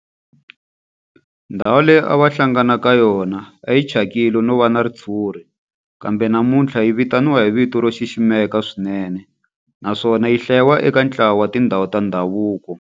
Ndhawu leyi a va hlangana ka yona a yi thyakile no va na ritshuri kambe namuntlha yi vitaniwa hi vito ro xiximeka swinene naswona yi hlayiwa eka ntlawa wa tindhawu ta ndhavuko.